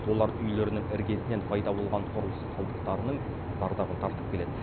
олар үйлерінің іргесінен пайда болған құрылыс қалдықтарынының зардабын тартып келеді